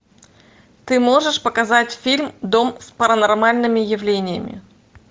ты можешь показать фильм дом с паранормальными явлениями